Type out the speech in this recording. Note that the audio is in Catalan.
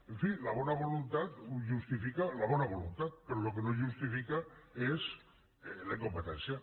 en fi la bona voluntat ho justifica la bona voluntat però el que no ho justifica és la incompetència